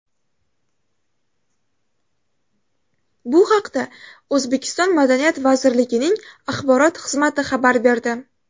Bu haqda O‘zbekiston Madaniyat vazirligining axborot xizmati xabar berdi.